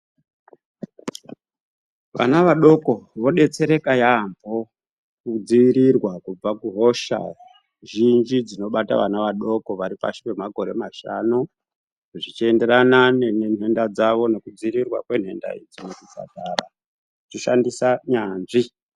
Vana vadoko vodetsereka yaamho kudzivirirwa kubva kuhosha zhinji dzinobata vana vadoko varipashi pemakore mashanu zvichienderana nenhenda dzavo nekudzivirirwa kwenhenda idzi muzvipatara tichishandisa nyanzvi.